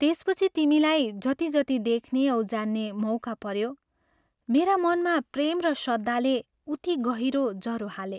त्यसपछि तिमीलाई जति जति देख्ने औ जान्ने मौका पऱ्यो , मेरा मनमा प्रेम र श्रद्धाले उति गहिरो जरो हाले।